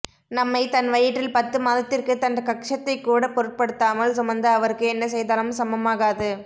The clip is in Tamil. நம்மை தன் வயிற்றில் பத்து மாதத்திற்கு தன் க௸தத்தை கூட பொருட்படுத்தாமல் சுமந்த அவருக்கு என்ன செய்தாலும் சமம்மாகாது